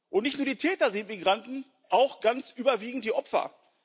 Und nicht nur die Täter sind Migranten, auch ganz überwiegend die Opfer.